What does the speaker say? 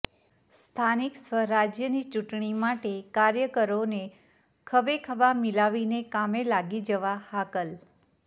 સ્થાનિક સ્વરાજ્યની ચૂંટણી માટે કાર્યકરોને ખભેખભા મિલાવીને કામે લાગી જવા હાકલ